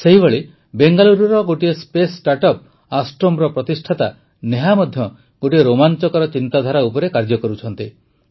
ସେହିଭଳି ବେଙ୍ଗାଲୁରୁର ଗୋଟିଏ ସ୍ପେସ୍ ଷ୍ଟାର୍ଟଅପ୍ ଆଷ୍ଟ୍ରୋମର ପ୍ରତିଷ୍ଠାତା ନେହା ମଧ୍ୟ ଗୋଟିଏ ରୋମାଂଚକର ଚିନ୍ତାଧାରା ଉପରେ କାର୍ଯ୍ୟ କରୁଛନ୍ତି